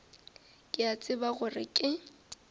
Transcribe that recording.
ke a tseba gore ke